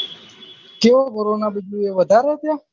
ચેવો corona બીજે વધારે હે ત્યાં